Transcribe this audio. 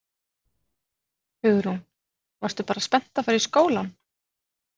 Hugrún: Varstu bara spennt að fara í skólann?